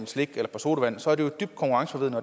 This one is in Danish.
slik eller sodavand